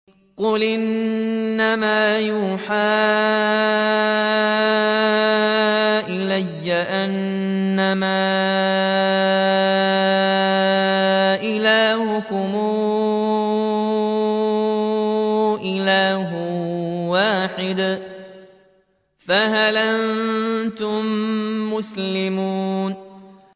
قُلْ إِنَّمَا يُوحَىٰ إِلَيَّ أَنَّمَا إِلَٰهُكُمْ إِلَٰهٌ وَاحِدٌ ۖ فَهَلْ أَنتُم مُّسْلِمُونَ